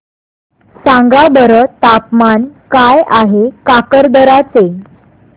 सांगा बरं तापमान काय आहे काकरदरा चे